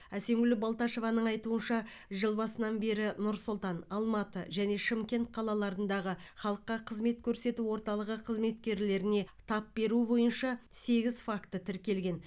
әсемгүл балташеваның айтуынша жыл басынан бері нұр сұлтан алматы және шымкент қалаларындағы халыққа қызмет көрсету орталығы қызметкерлеріне тап беру бойынша сегіз факті тіркелген